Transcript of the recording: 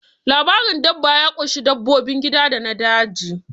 Labarin dabba ya ƙunshi dabbobin gida da na daji